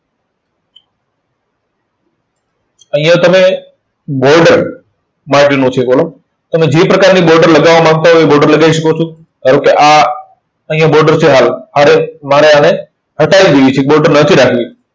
અહીંયા તમે border તમે જે પ્રકારની border લગાવા માંગતા હોય border લગાઈ શકો છો. ધારો કે આ અહીંયા border છે હાલ. આને મારે આને હટાઇ દેવી છે, border નથી રાખવી.